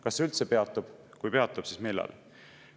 Kas see üldse peatub, kui peatub, siis millal?